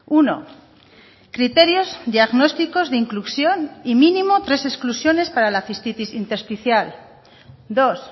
uno criterios diagnósticos de inclusión y mínimo tres exclusiones para la cistitis intersticial dos